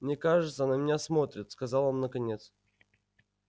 мне кажется на меня смотрят сказал он наконец